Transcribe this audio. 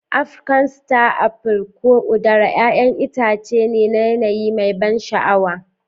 Afrikan Star Apple, ko udara, 'ya'yan itace ne na yanayi mai ban sha'awa.